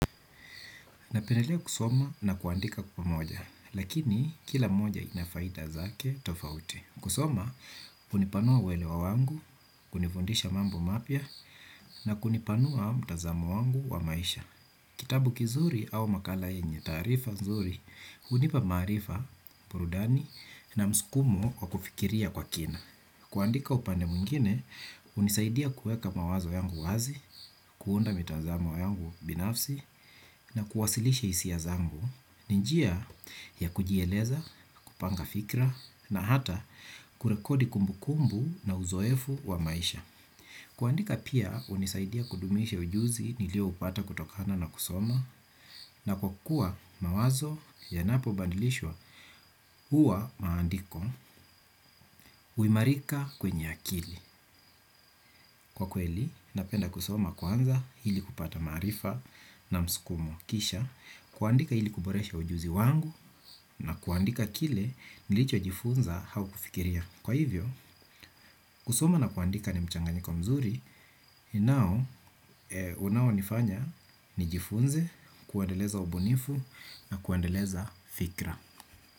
Napendelea kusoma na kuandika pamoja, lakini kila moja inafaida zake tofauti. Kusoma, hunipanua uelewa wangu, kunifundisha mambo mapya, na kunipanua mtazamo wangu wa maisha. Kitabu kizuri au makala yenye, taarifa nzuri, hunipa maarifa, burudani, na msukumo wa kufikiria kwa kina. Kuandika upande mwingine, hunisaidia kuweka mawazo yangu wazi, kuunda mitazamo yangu binafsi, na kuwasilisha hisia zangu, ninjia ya kujieleza, kupanga fikra, na hata kurekodi kumbu kumbu na uzoefu wa maisha. Kuandika pia hunisaidia kudumisha ujuzi nilio upata kutokana na kusoma. Na kwa kuwa mawazo yanapo badilishwa huwa maandiko huimarika kwenye akili. Kwa kweli napenda kusoma kwanza ili kupata maarifa na msukumo kisha kuandika ili kuboresha ujuzi wangu na kuandika kile nilicho jifunza au kufikiria. Kwa hivyo kusoma na kuandika ni mchanganyiko mzuri. Nao, unao nifanya, nijifunze, kuandeleza ubunifu na kuendeleza fikra.